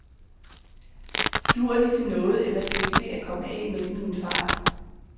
Duer de til noget, eller skal vi se at komme af med dem i en fart?